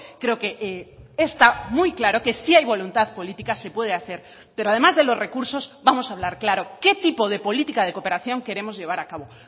creo que está muy claro que si hay voluntad política se puede hacer pero además de los recursos vamos a hablar claro qué tipo de política de cooperación queremos llevar a cabo